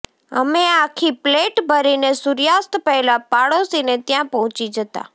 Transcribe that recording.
અમે આખી પ્લેટ ભરીને સૂર્યાસ્ત પહેલાં પડોશીને ત્યાં પહોંચી જતા